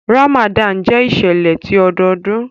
Ramadan jẹ iṣẹlẹ ti ọdọọdun.